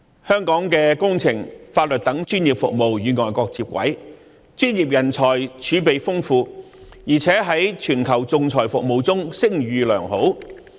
香港的工程和法律等專業服務與外國接軌，專業人才儲備豐富，而且在全球仲裁服務中聲譽良好。